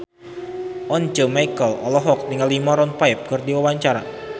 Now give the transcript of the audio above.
Once Mekel olohok ningali Maroon 5 keur diwawancara